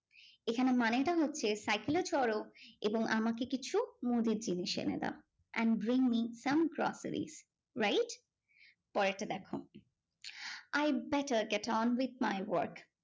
এখানে মানেটা হচ্ছে cycle এ চড়ো এবং আমাকে কিছু মুদির জিনিস এনে দাও and bring me some groceries. wright? পরেরটা দেখো, I better get on with my work.